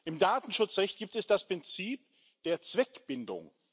Im Datenschutzrecht gibt es das Prinzip der Zweckbindung.